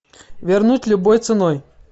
вернуть любой ценой